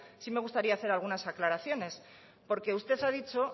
sí me gustaría hacer algunas aclaraciones porque usted ha dicho